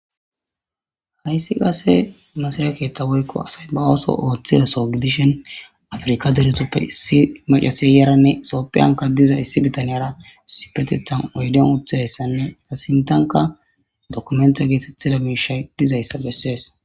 Haysi qase masira keetha woyko Asama osso Othizaso Gidishin afirka deretape issi Maccashiya sope ankan diza issi bitanara issipetethan oyden utidi Diyaysane Sintanka Dokimente Mishay Dizaysa beses